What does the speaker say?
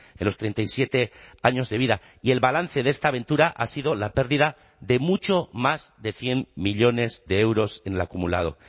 en los treinta y siete años de vida y el balance de esta aventura ha sido la pérdida de mucho más de cien millónes de euros en el acumulado